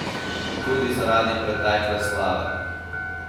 Tudi zaradi pretekle slave.